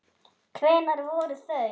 Hvenær voru þau?